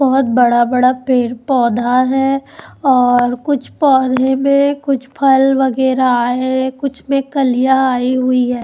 बहोत बड़ा बड़ा पेड़ पौधा हैं और कुछ पौधे में कुछ फल वगैरा आए है कुछ में कलियाँ आई हुई हैं।